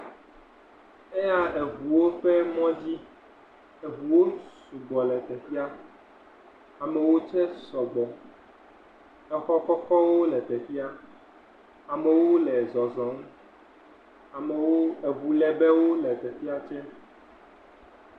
Eya eŋuwo ƒe mɔ dzi. Eŋuwo su gbɔ le teƒea. Amewo dze sɔgbɔ. Exɔ kɔkɔwo le teƒea. Amewo le zɔzɔm. Amewo, eŋulebewo le teƒea